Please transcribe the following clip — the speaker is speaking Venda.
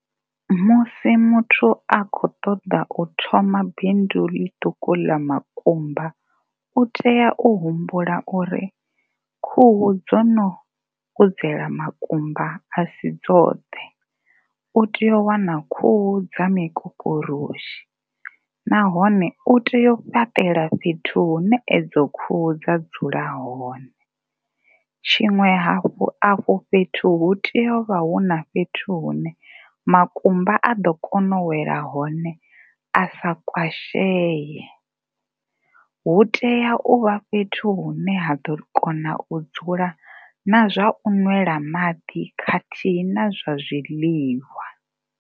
Musi muthu a tshi a khou ṱoḓa u thoma bindu ḽiṱuku ḽa makumba u tea u humbula uri khuhu dzo no kudzela makumba a si dzoṱhe. U tea u wana khuhu dza mikokoroshi nahone u tea u fhaṱela fhethu hune edzo khuhu dza dzula hone. Tshiṅwe hafhu, afho fhethu hu tea u vha hu na fhethu hune makumba a ḓo kona u wela hone a sa kwasheye, hu tea u vha fhethu hune ha ḓo kona u dzula na zwa u ṅwela maḓi khathihi na zwa zwiḽiwa.